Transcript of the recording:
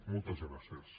moltes gràcies